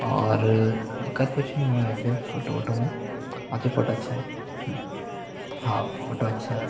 और दिखत कुछ नहीं है फोटो व्होटो में बाकि फोटो अच्छा है हम्म हव फोटो अच्छा है वैसे--